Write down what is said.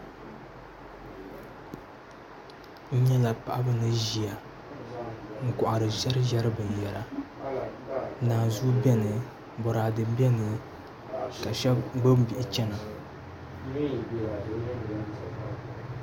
N nyɛla paɣaba ni ʒiya n kohari ʒɛriʒɛri binyɛra naanzuhi biɛni boraadɛ biɛni ka shab gbubi bihi chɛna